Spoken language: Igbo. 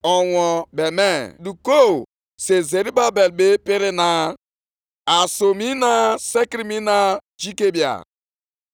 “Gwa Zerubabel, onye na-achị Juda sị ana m aga ịyọgharị eluigwe na ụwa.